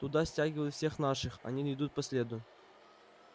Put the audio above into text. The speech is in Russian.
туда стягивают всех наших они не идут по следу